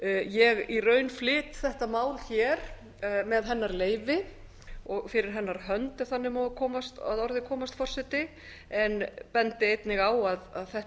ég í raun flyt þetta mál hér með hennar leyfi og fyrir hennar hönd ef þannig má að orði komast forseti en bendi einnig á að þetta